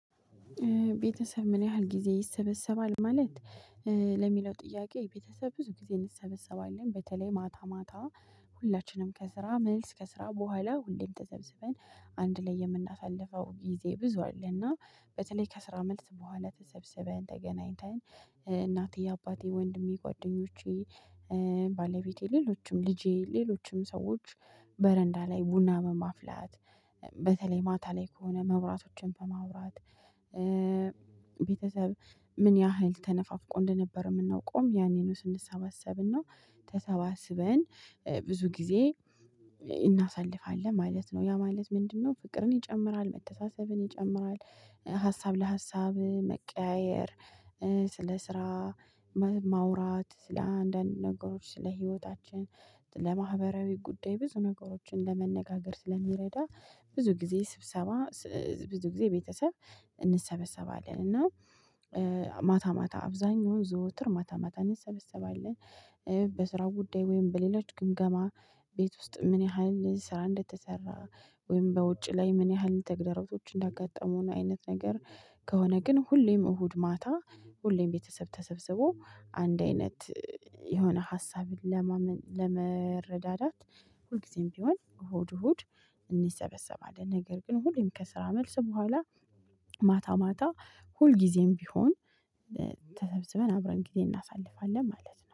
ቤተሰብ ምን ያህል ጊዜ ይሰበሰባል ማለት ለሚለው ጥያቄ? ቤተሰብ ብዙ ጊዜ እንሰበሰባለን በተለይ ማታ ማታ ሁላችንም ከስራ መልስ ከስራ በኋላ ሁሌም ተሰብስበን አንድ ላይ የምናሳልፈው ጊዜ ብዙ አለና በተለይ ከስራ መልስ በኋላ ተሰብስበን ተገናኝተን እናቴ አባቴ ወንድሜ ጓደኞቼ ባለቤቴ ሌሎችም ልጄ ሌሎችም ሰዎች በረንዳ ላይ ቡና በማፍላት በተለይ ማታ ላይ ከሆነ መብራቶችን በማብራት። ቤተሰብ ምን ያህል ተነፋፍቆ እንደነበረ የምናውቀው ያኔ ነው ስንሰባሰብና ተሰባስበን ብዙ ጊዜ እናሳልፋለን ማለት ነው ያ ማለት ምንድነው? ፍቅርን ይጨምራል መተሳሰብን ይጨምራል። ሀሳብ ለሀሳብ መቀያየር ስለ ስራ ማውራት ስለአንዳንድ ነገሮች ስለ ህይወታችን ስለማህበራዊ ጉዳይ ብዙ ነገሮችን ለመነጋገር ስለሚረዳ። ብዙ ጊዜ ስብሰባ ብዙ ጊዜ ቤተሰብ እንሰበሰባለን እና ማታ ማታ አብዛኛውን ዘወትር ማታ ማታ እንሰበሰባለን። በስራው ጉዳይ ወይም በሌሎች ግምገማ ቤት ውስጥ ምን ያህል ስራ እንደተሰራ ወይም በውጭ ላይ ምን ያህል ተግዳሮቶች እንዳጋጠሙን አይነት ነገር። ከሆነ ግን ሁሌም እሁድ ማታ ሁሌም ቤተሰብ ተሰብስቦ አንድ አይነት የሆነ ሀሳብን ለማመንጨ ለመረዳዳት ሁልጊዜም ቢሆን እሁድ እሁድ እንሰበሰባለን። ነገር ግን ሁሌም ከስራ መልስ በኋላ ማታ ማታ ሁልጊዜም ቢሆን ተሰብስበን አብረን ጊዜ እናሳልፋለን ማለት ነው